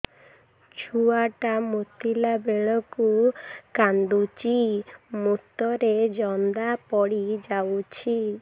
ଛୁଆ ଟା ମୁତିଲା ବେଳକୁ କାନ୍ଦୁଚି ମୁତ ରେ ଜନ୍ଦା ପଡ଼ି ଯାଉଛି